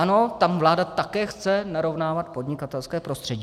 Ano, tam vláda také chce narovnávat podnikatelské prostředí.